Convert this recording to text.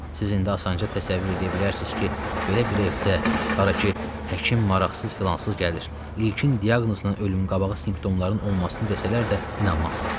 Siz indi asanca təsəvvür eləyə bilərsiz ki, belə bir evdə, hara ki, həkim maraqsız-filansız gəlir, ilkin diaqnozla ölümün qabağı simptomların olmasını desələr də inanmazsız.